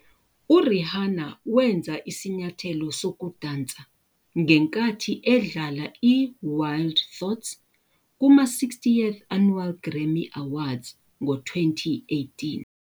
URihanna wenza isinyathelo sokudansa ngenkathi edlala i-"Wild Thoughts" kuma-60th Annual Grammy Awards ngo-2018.